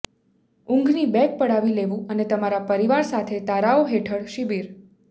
ઊંઘની બેગ પડાવી લેવું અને તમારા પરિવાર સાથે તારાઓ હેઠળ શિબિર